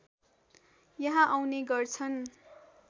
यहाँ आउने गर्छन्